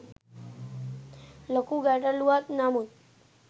ලොකු ගැටලුවක් නමුත්